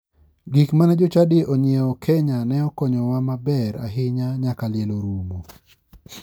Gik mane jochadi onyiewo kenya ne okonyowa maber ahinya nyaka liel orumo.